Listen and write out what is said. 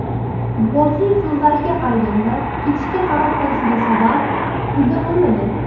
Futbolchining so‘zlariga qaraganda, ketishga qaror qilishiga sabab pulda bo‘lmagan.